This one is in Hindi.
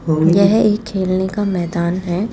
यह एक खेलने का मैदान हैं।